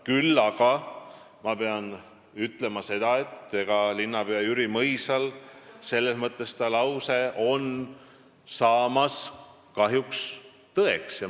Küll aga pean ütlema seda, et endise linnapea Jüri Mõisa lause hakkab kahjuks tõeks saama.